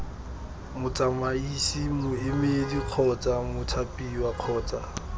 motsamaisi moemedi kgotsa mothapiwa kgotsa